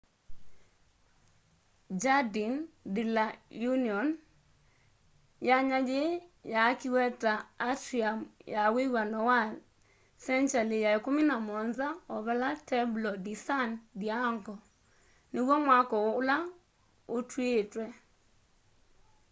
jardin de la union. yanya yii yaakiwe ta atrium ya wiw'ano wa sengyali ya 17 o vala templo de san diego niw'o mwako ula utiítwe